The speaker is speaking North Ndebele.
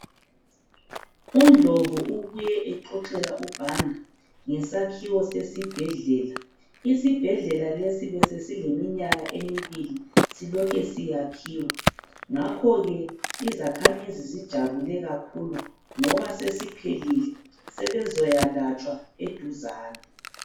UNdlovu ubuye exoxela uBanda ngesakhiwo sesibhedlela, isibhedlela lesi besesile minyaka emibili silokhe siyakhiwa ngakhoke izakhamizi zijabule kakhulu ngoba sesiphelile sebezayalatshwa eduzane.